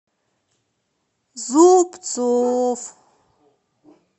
зубцов